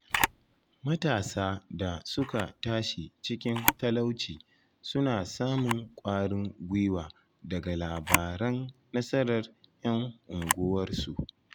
Matasa da suka tashi cikin talauci suna samun kwarin gwiwa daga labaran nasarar ‘yan unguwarsu.